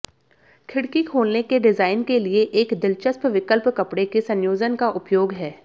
खिड़की खोलने के डिजाइन के लिए एक दिलचस्प विकल्प कपड़े के संयोजन का उपयोग है